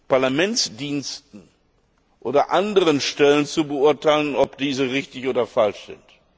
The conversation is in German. Parlamentsdiensten oder anderen Stellen zu beurteilen, ob diese richtig oder falsch sind.